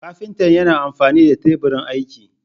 Kafinta yana amfani fa Teburin aiki.